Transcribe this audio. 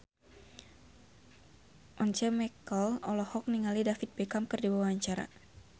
Once Mekel olohok ningali David Beckham keur diwawancara